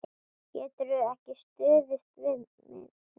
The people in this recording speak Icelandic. Geturðu ekki stuðst við minnið?